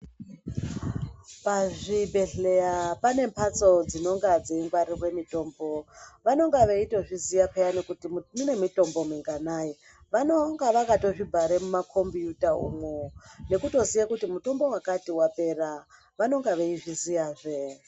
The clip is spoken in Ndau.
Pazvbhedhlera pane mhatso dzinonga dzeingwarirwe mitombo vanonga veitozviziya peyani kuti mune mitombo minganayi vanonga vakatozvibhare mumakombiyuta umwo nekutoziva kuti mitombo wakati wapera vanonga veizviziyazve